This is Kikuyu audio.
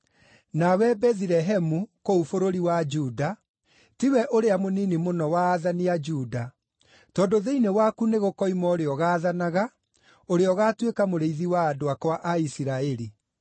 “ ‘Nawe Bethilehemu, kũu bũrũri wa Juda, tiwe ũrĩa mũnini mũno wa aathani a Juda; tondũ thĩinĩ waku nĩgũkoima ũrĩa ũgaathanaga, ũrĩa ũgaatuĩka mũrĩithi wa andũ akwa a Isiraeli.’ ”